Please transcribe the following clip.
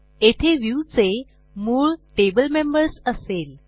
येथे व्ह्यू चे मूळ टेबल मेंबर्स असेल